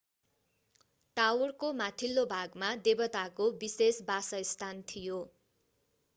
टावरको माथिल्लो भागमा देवताको विशेष बासस्थान थियो